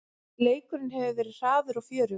Leikurinn hefur verið hraður og fjörugur